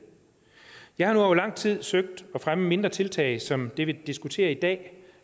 jeg har nu over lang tid søgt at fremme mindre tiltag som det vi diskuterer i dag